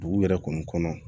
Dugu yɛrɛ kɔni kɔnɔ